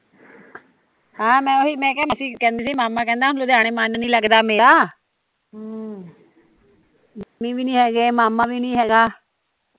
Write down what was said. ਹਾਂ ਮੈਂ ਓਹੀ ਮੈਂ ਕਿਹਾ ਮਾਸੀ ਕਹਿੰਦੀ ਮਾਮਾ ਕਹਿੰਦਾ ਲੁਧਿਆਣੇ ਮਨ ਨੀ ਲੱਗਦਾ ਮੇਰਾ ਮੰਮੀ ਵੀ ਨੀ ਹੈਗੇ ਮਾਮਾ ਵੀ ਨੀ ਹੈਗਾ